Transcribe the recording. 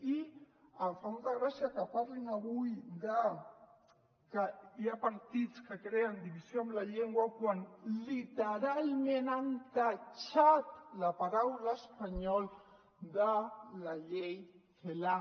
i em fa molta gràcia que parlin avui de que hi ha partits que creen divisió amb la llengua quan literalment han tatxat la paraula espanyol de la llei celaá